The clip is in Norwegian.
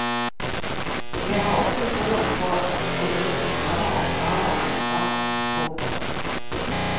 Jeg har også troen på å gi ungdommer oppgaver og ansvar. punktum